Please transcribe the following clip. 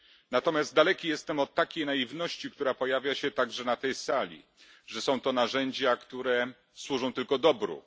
Natomiast daleki jestem od takiej naiwności, która pojawia się także na tej sali że są to narzędzia, które służą tylko dobru.